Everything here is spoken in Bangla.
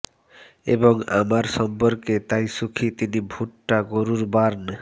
এবং আমার সম্পর্কে তাই সুখী তিনি ভুট্টা গরুর বার্ন